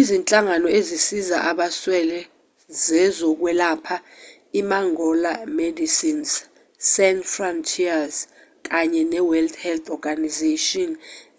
izinhlangano ezisiza abaswele zezokwelapha imangola imedecines sans frontieres kanye neworld health organisation